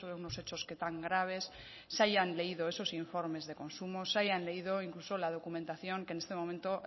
unos hechos que tan graves se hayan leído esos informes de consumo se hayan leído incluso la documentación que en este momento